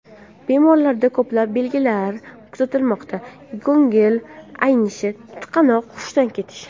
Bemorlarda ko‘plab belgilar kuzatilmoqda ko‘ngil aynishi, tutqanoq, hushdan ketish.